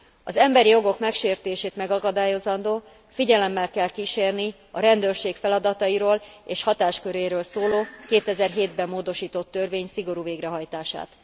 Az emberi jogok megsértését megakadályozandó figyelemmel kell kísérni a rendőrség feladatairól és hatásköréről szóló 2007 ben módosított törvény szigorú végrehajtását.